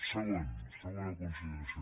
segon segona consideració